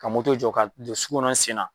Ka moto jɔ ka don sugu kɔnɔn n sen na.